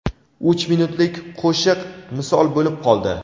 uch minutlik qo‘shiq misol bo‘lib qoldi.